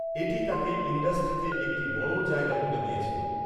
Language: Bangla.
এটি তাকে ইন্ডাস্ট্রিতে একটি বড় জায়গা করে দিয়েছিল।